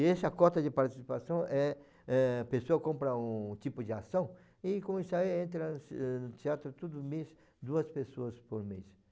E essa cota de participação é é a pessoa compra um tipo de ação e com isso aí entra no teatro todo mês duas pessoas por mês.